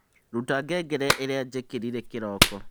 ruta ngengere ĩria njikirire kĩroko